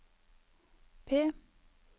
P